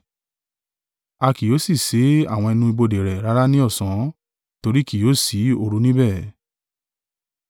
A kì yóò sì ṣé àwọn ẹnu ibodè rẹ̀ rárá ní ọ̀sán: nítorí ki yóò si òru níbẹ̀.